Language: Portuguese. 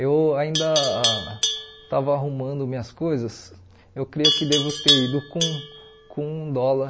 eu ainda estava arrumando minhas coisas, eu creio que devo ter ido com com um dólar